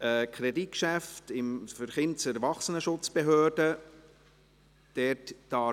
Kreditgeschäft Kindes- und Erwachsenenschutzbehörde (KESB).